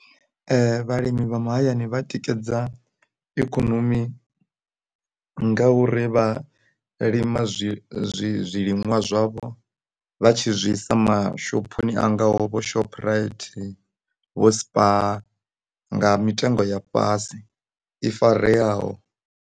Ee vhalimi mahayani vha tikedza ikonomi nga uri vha lima zwi zwi zwiliṅwa zwavho vha tshi zwi isa mashophoni a ngaho vho Shoprite, vho Spar nga mitengo ya fhasi i fareaho.